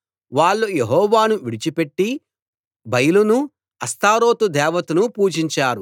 వాళ్ళు యెహోవాను విడిచిపెట్టి బయలును అష్తారోతు దేవతను పూజించారు